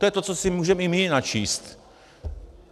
To je to, co si můžeme i my načíst.